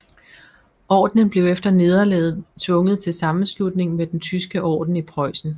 Ordenen blev efter nederlaget tvunget til sammenslutning med den Tyske Orden i Preussen